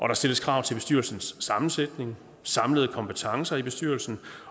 der stilles krav til bestyrelsens sammensætning de samlede kompetencer i bestyrelsen